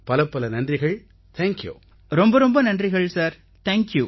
பலப்பல நன்றிகள் நண்பர்களே தேங்க்யூ